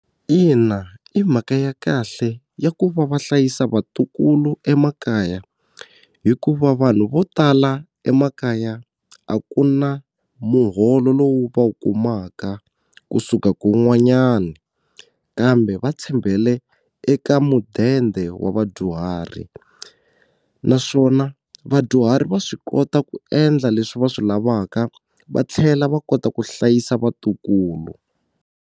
Ina, i mhaka ya kahle ya ku va va hlayisa vatukulu emakaya hikuva vanhu vo tala emakaya a ku na muholo lowu va wu kumaka kusuka kun'wanyana kambe va tshembele eka mudende wa vadyuhari naswona vadyuhari va swi kota ku endla leswi va swi lavaka va tlhela va kota ku hlayisa vatukulu.